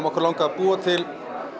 okkur langaði að búa til